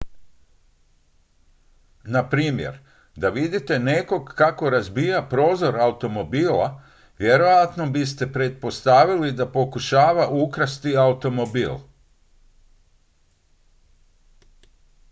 na primjer da vidite nekog kako razbija prozor automobila vjerojatno biste pretpostavili da pokušava ukrasti automobil